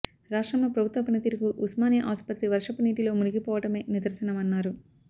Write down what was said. రాష్ట్రంలో ప్రభుత్వ పనితీరుకు ఉస్మా నియా ఆస్పత్రి వర్షపు నీటిలో మునిగిపోవ టమే నిదర్శనమన్నారు